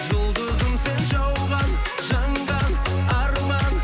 жұлдызым сен жауған жанған арман